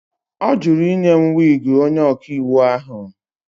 Ọ jụrụ ịnye m wiigi onye ọkaiwu ahụ.